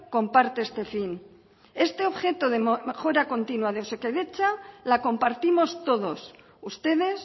comparte este fin este objeto de mejora continua de osakidetza la compartimos todos ustedes